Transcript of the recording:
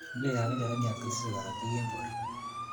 Ngwekab nderemiat kotesei korotik eng borto